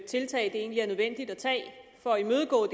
tiltag det egentlig er nødvendigt at tage for at imødegå